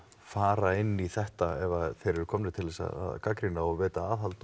fara inn í þetta ef þeir eru komnir til þess að gagnrýna og veita aðhald